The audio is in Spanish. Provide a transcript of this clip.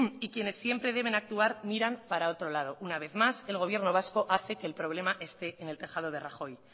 y quienes siempre deben actuar miran para otro lado una vez más el gobierno vasco hace que el problema esté en el tejado de rajoy